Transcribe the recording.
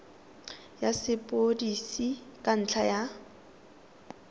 ya sepodisi ka ntlha ya